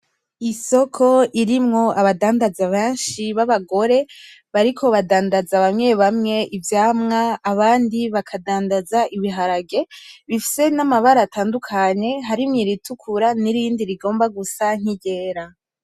Isoko irimwo abadandaza benshi babagore , bariko badandaza bamwe bamwe ivyamwa abandi bakadandaza ibiharage bifise amabara natandukanye harimwo iratukura nirindi rigomba gusa niryera .